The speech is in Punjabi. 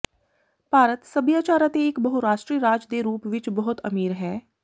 ਭਾਰਤ ਸਭਿਆਚਾਰ ਅਤੇ ਇਕ ਬਹੁਰਾਸ਼ਟਰੀ ਰਾਜ ਦੇ ਰੂਪ ਵਿਚ ਬਹੁਤ ਅਮੀਰ ਹੈ